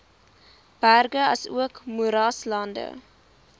berge asook moeraslande